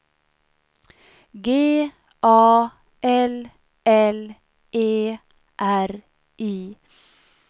G A L L E R I